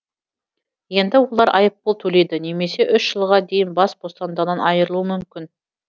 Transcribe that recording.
енді олар айыппұл төлейді немесе үш жылға дейін бас бостандығынан айырылуы мүмкін